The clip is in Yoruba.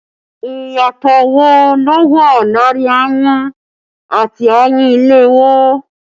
Ìyàtọ̀ wo ló wà láàrin ayùn àti ayùn ìléwọ́?